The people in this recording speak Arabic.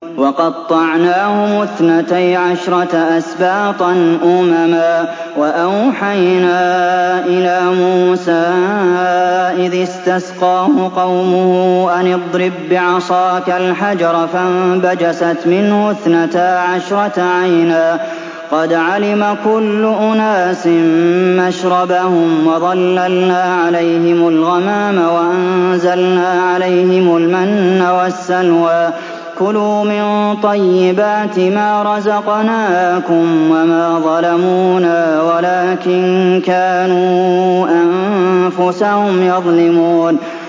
وَقَطَّعْنَاهُمُ اثْنَتَيْ عَشْرَةَ أَسْبَاطًا أُمَمًا ۚ وَأَوْحَيْنَا إِلَىٰ مُوسَىٰ إِذِ اسْتَسْقَاهُ قَوْمُهُ أَنِ اضْرِب بِّعَصَاكَ الْحَجَرَ ۖ فَانبَجَسَتْ مِنْهُ اثْنَتَا عَشْرَةَ عَيْنًا ۖ قَدْ عَلِمَ كُلُّ أُنَاسٍ مَّشْرَبَهُمْ ۚ وَظَلَّلْنَا عَلَيْهِمُ الْغَمَامَ وَأَنزَلْنَا عَلَيْهِمُ الْمَنَّ وَالسَّلْوَىٰ ۖ كُلُوا مِن طَيِّبَاتِ مَا رَزَقْنَاكُمْ ۚ وَمَا ظَلَمُونَا وَلَٰكِن كَانُوا أَنفُسَهُمْ يَظْلِمُونَ